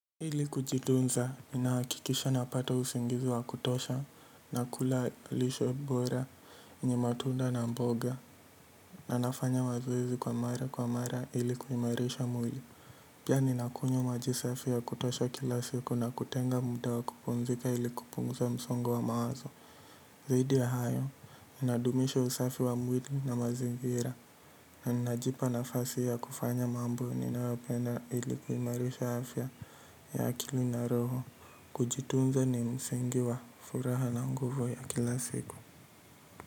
Ili kujitunza, ninahakikisha na pata usingizi wa kutosha, nakula lishe bora, yenyematunda na mboga, na nafanya mazoezi kwa mara kwa mara ili kuimarisha mwili. Pia nina kunywa majisafiya kutosha kila siku na kutenga muda wa kupumzika ili kupunguza msongo wa mawazo. Zaidi ya hayo, ninadumisha usafi wa mwili na mazingira, na ninajipa na fasi ya kufanya mambo ninayopenda ili kuimarisha afya ya akili naroho. Kujitunza ni msingiwa furaha na nguvu ya kilasiku.